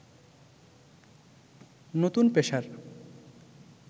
নতুন পেশার